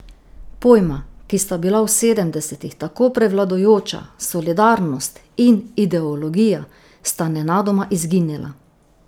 Pojma, ki sta bila v sedemdesetih tako prevladujoča, solidarnost in ideologija, sta nenadoma izginila.